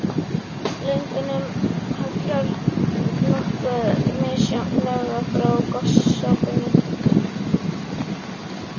Lögunum hallar nokkuð misjafnlega frá gosopinu.